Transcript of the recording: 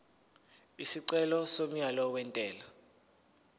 isicelo somyalo wentela